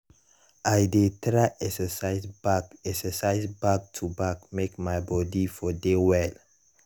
i dey try exercise back exercise back to back make my body for dey well.